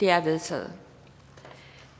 er vedtaget